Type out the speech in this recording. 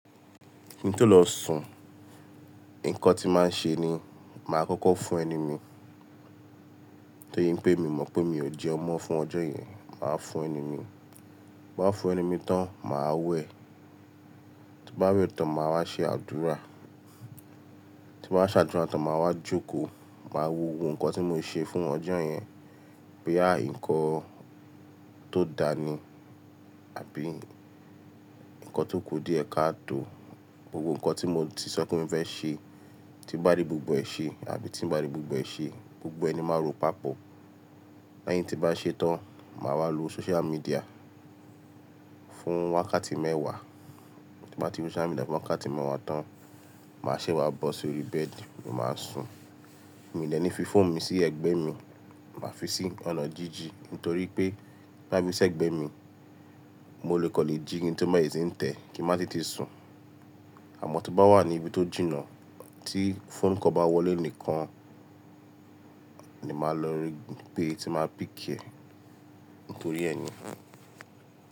Kin tó lọ sùn, nǹkan tí mo màá n ṣe ni, màá kọ́kọ́ fo ẹnu mi. Torí pé mi mọ̀ pé mi ò jẹun mọ fún ọjọ́ yẹn, màá fo ẹnu mi. Bí màá fún ẹni mi tán, màá wẹ̀. Tí bá wẹ̀ tán, màá wá ṣe àdúrà. Tí n ba ṣe àdúrà tán, màá wá jókòó, màá wo ohun tí mo ṣe fún ọjọ́ yẹn. Boya nkan tó dàa ni àbí ǹkan tó ku diẹ̀ káa tó. Gbogbo nkan tí mo ti sọ pé mo fẹ́ ṣe, tí n bá ri gbogbo ẹ ṣe àbí tí n bá ri gbogbo ẹ ṣe, gbogbo ẹ ni máa ró papọ̀. Lẹ́yìn tí n bá ṣe tán, màá wá lo social media fún wákàtí mẹ́wàá. Tí n ba ti lo social media fún wákàtí mẹ́wàá tán, màá ṣe wá bọ́ sórí bed, ni máa sùn. Mii dè ní fi fóònù mi sí ẹ̀gbẹ́ mi, màá fi sí ọ̀nà jínjìn Nítorí pé ti n ba fi sí ẹ̀gbẹ́ mi, mo lè kan le jí, ki n tun bere sì n tẹ ki n mà tètè sùn. Àmọ́ to bá wà ní ibi tó jìnnà tí phone call bá wọlé nìkan ni màá lọ gbe tí màá pick ẹ. Nítorí ẹ ni.